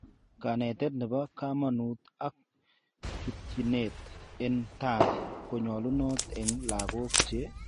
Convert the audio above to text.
Kanetet nebo kamanut ak chutyinet en tai konyalunat en lagok che